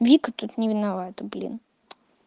вика тут не виновата блин